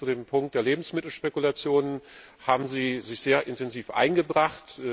Insbesondere zu dem Punkt der Lebensmittelspekulationen haben sie sich sehr intensiv eingebracht.